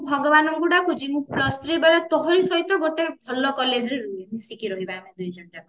ମୁଁ ଭଗବାନଙ୍କୁ ଡାକୁଛି ମୁଁ plus three ବେଳେ ତୋହରି ସହିତ ଗୋଟେ ଭଲ କଲେଜ ରେ ମିସିକି ରହିବା ଦୁଇ ଜଣ ଯାକ